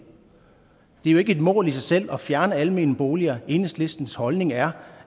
er jo ikke et mål i sig selv at fjerne almene boliger enhedslistens holdning er